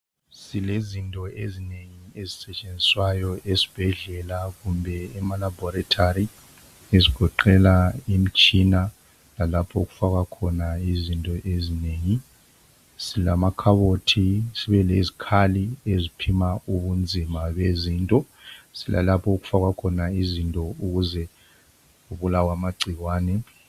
Silezinto ezinengi ezisetshenziswayo esibhedlela kumbe emalaboratory ezigoqela imitshina lalapho okufakwa khona izinto ezinengi silamakhabothi sibe lezikhali eziphima ubunzima bezinto silalapho okufakwa khona izinto ukuze kubulawe amagcikwane.